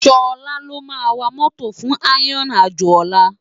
Sola ló má wá mòtó fún iron ájó òlá